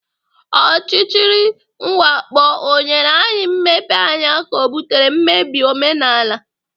Ọchịchịrị mwakpo ọ nyere anyị mmepeanya ka ọ butere mmebi omenala?